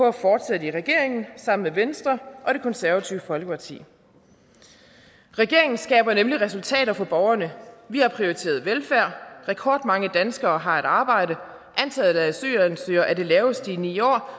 at fortsætte i regeringen sammen med venstre og det konservative folkeparti regeringen skaber nemlig resultater for borgerne vi har prioriteret velfærd rekordmange danskere har et arbejde antallet af asylansøgere er det laveste i ni år